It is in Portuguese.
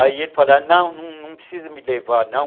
Aí ele falava, não, não precisa me levar, não.